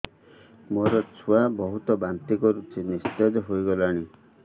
ମୋ ଛୁଆ ବହୁତ୍ ବାନ୍ତି କରୁଛି ନିସ୍ତେଜ ହେଇ ଗଲାନି